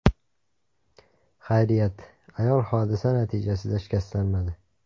Xayriyat, ayol hodisa natijasida shikastlanmadi.